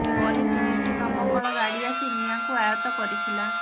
ପରେ ତିନିଟି ଦମକଳ ଗାଡ଼ି ଆସି ନିଆଁକୁ ଆୟତ୍ତ କରିଥିଲା